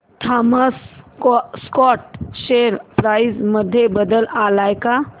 Thomas Scott share price मध्ये बदल आलाय का